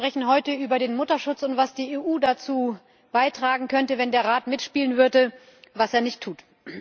Wir sprechen heute über den Mutterschutz und was die EU dazu beitragen könnte, wenn der Rat mitspielen würde, was er nicht tut.